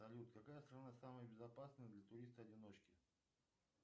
салют какая страна самая безопасная для туриста одиночки